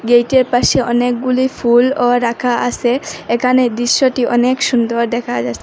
গেইটের পাশে অনেকগুলি ফুলও রাখা আসে একানে দৃশ্যটি অনেক সুন্দর দেখা যা--